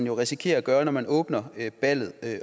jo risikerer at gøre når man åbner ballet